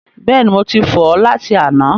Bẹ́ẹ̀ni, mo ti fọ̀ ọ́ láti àná.